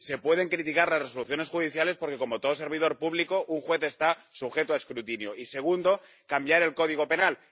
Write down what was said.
Y, sí, se pueden criticar las resoluciones judiciales, porque, como todo servidor público, un juez está sujeto a escrutinio. Y, segundo, cambiar el Código Penal.